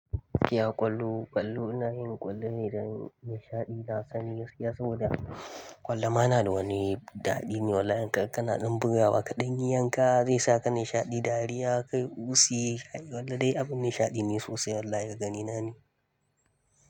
Iya ƙwallo, ƙwallo ina yin ƙwallo ne dan nishaɗi na sani gaskiya saboda. Ƙwallo ma na da wani daɗi ne wallahi. Karka kana ɗan buga wa kaɗan yi yanka, zai saka nishaɗi, dariya, kai, ƙusi. Ƙwallo dai abin nishaɗi ne sosai wallahi daga ni na ne.